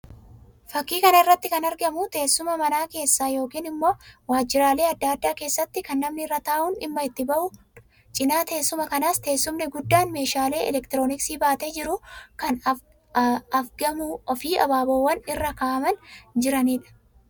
Fakkii kana irratti kan argamu teessuma mana keessaa yookiin immoo waajjiraalee addaa addaa keessatti kan namni irra taa'uun dhimma itti ba'uu dha. Cina teessuma kanaas teessumni guddaan meeshaalee elektirooniksii baatee jiru kan afgamuu fi abaaboowwanis irra kan jiranii dha.